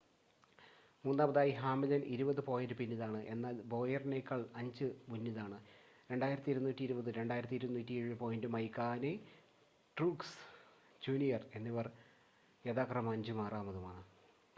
മൂന്നാമതായി ഹാംലിൻ ഇരുപത് പോയിൻ്റ് പിന്നിലാണ് എന്നാൽ ബോയറിനേക്കാൾ 5 മുന്നിലാണ് 2,220 2,207 പോയിൻ്റുമായി കഹ്നെ ട്രൂക്സ് ജൂനിയർ എന്നിവർ യഥാക്രമം അഞ്ചും ആറാമതുമാണ്